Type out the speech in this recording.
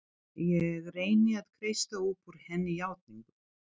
Ég reyni að kreista upp úr henni játningu.